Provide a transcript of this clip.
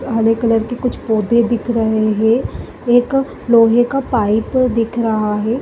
हरे colour की कुछ पौधे दिख रहे हैं एक लोहे का पाइप दिख रहा है।